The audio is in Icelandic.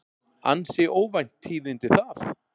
Ansi óvænt tíðindi það.